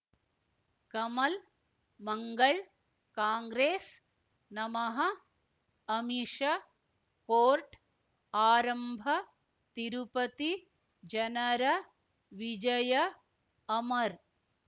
ಕಮಲ್ ಮಂಗಳ್ ಕಾಂಗ್ರೆಸ್ ನಮಃ ಅಮಿಷ ಕೋರ್ಟ್ ಆರಂಭ ತಿರುಪತಿ ಜನರ ವಿಜಯ ಅಮರ್